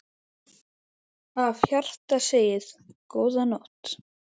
Af hjarta segið: GÓÐA NÓTT.